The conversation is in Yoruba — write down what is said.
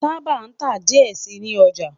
Taba ta diẹ sii ni ọja